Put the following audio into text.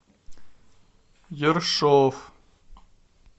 ершов